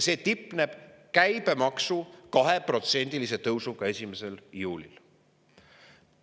See tipneb käibemaksu 2%‑lise tõusuga 1. juulil.